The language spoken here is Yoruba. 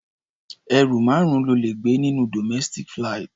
Ẹrù márùn-ún lo lè gbé nínú domestic flight.